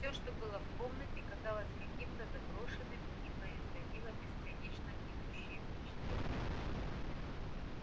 все что было в комнате казалось каким-то заброшенным и производило бесконечно гнетущее впечатление